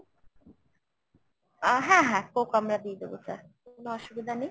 আহ হ্যাঁ হ্যাঁ coke আমরা দিয়ে দেবো sir কোনো অসুবিধা নেই।